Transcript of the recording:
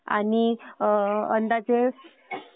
आणि अंदाजे